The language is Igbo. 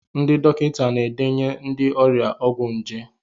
Ndị dọkịta na-edenye ndị ọrịa ọgwụ nje.